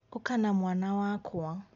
ũka na mwana wakwa